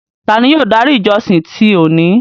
Tání yóò dári ìjọ̀ṣìn ti óni?